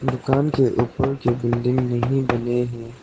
दुकान के ऊपर कि बिल्डिंग नहीं बने हैं।